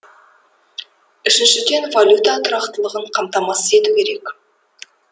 үшіншіден валюта тұрақтылығын қамтамасыз ету керек